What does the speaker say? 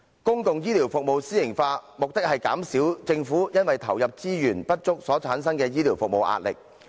公共醫療服務私營化，目的是減少政府因為投入資源不足所產生的醫療服務壓力。